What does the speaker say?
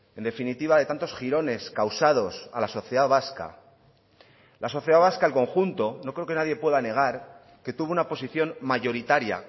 en definitiva de tantos girones causados a la sociedad vasca la sociedad vasca al conjunto no creo que nadie pueda negar que tuvo una posición mayoritaria